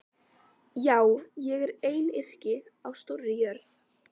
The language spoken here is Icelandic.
Já, ég er einyrki á stórri jörð.